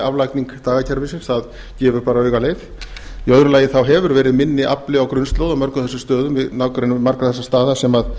aflagning dagakerfisins það gefur bara auga leið í öðru lagi hefur verið minni afli á grunnslóð á mörgum þessum stöðum í nágrenni margra þessara staða sem voru að